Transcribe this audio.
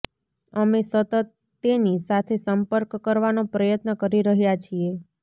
અમે સતત તેની સાથે સંપર્ક કરવાનો પ્રયત્ન કરી રહ્યાં છીએ